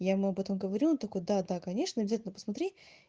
я ему об этом говорила он такой да да конечно обязательно посмотри